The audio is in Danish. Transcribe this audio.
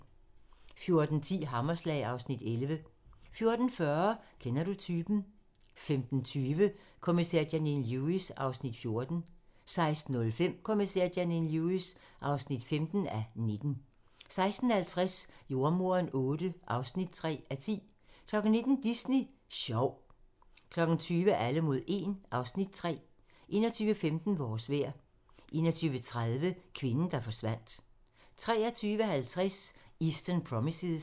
14:10: Hammerslag (Afs. 11) 14:40: Kender du typen? 15:20: Kommissær Janine Lewis (14:19) 16:05: Kommissær Janine Lewis (15:19) 16:50: Jordemoderen VIII (3:10) 19:00: Disney Sjov 20:00: Alle mod 1 (Afs. 3) 21:15: Vores vejr 21:30: Kvinden, der forsvandt 23:50: Eastern Promises